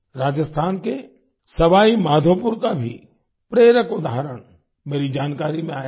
राजस्थान के सवाई माधोपुर का भी प्रेरक उदाहरण मेरी जानकारी में आया है